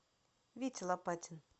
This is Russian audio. витя лопатин